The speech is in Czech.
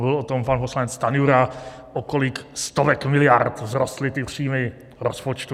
Mluvil o tom pan poslanec Stanjura, o kolik stovek miliard vzrostly ty příjmy rozpočtu.